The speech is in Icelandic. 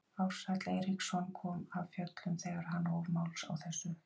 Ársæll Eiríksson kom af fjöllum þegar hann hóf máls á þessu.